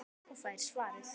Og fær svarið